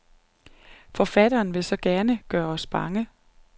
Forfatteren vil så gerne gøre os bange.